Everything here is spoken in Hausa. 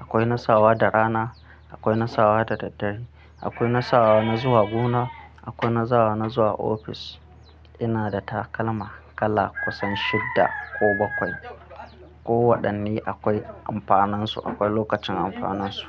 akwai nasawa da rana, akwai nasawa da daddare, akwai nasawa na zuwa gona, akwai nasawa na zuwa ofis. Ina da takalma kala kusan shidda ko bakwai. Ko waɗanne akwai amfaninsu, akwai lokacin amfaninsu.